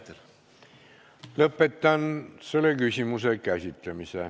Lõpetan selle küsimuse käsitlemise.